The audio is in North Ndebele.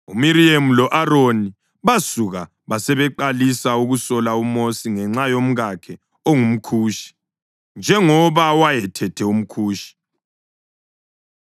UMiriyemu lo-Aroni basuka basebeqalisa ukusola uMosi ngenxa yomkakhe ongumKhushi, njengoba wayethethe umKhushi.